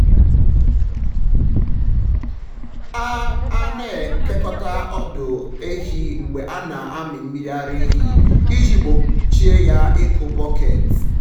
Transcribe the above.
a a na-ekekọta ọdụ ehi mgbe a na-amị mmiri ara ehi iji gbochie ya ịkụ bọket.